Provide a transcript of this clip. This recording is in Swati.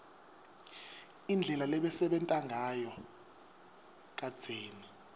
indlela lebebasebenta ngayo kadzeni